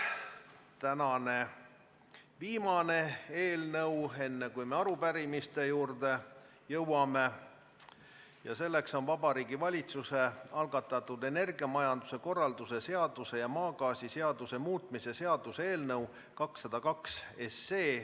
Tänane viimane eelnõu, enne kui me arupärimiste juurde jõuame, on Vabariigi Valitsuse algatatud energiamajanduse korralduse seaduse ja maagaasiseaduse muutmise seaduse eelnõu 202.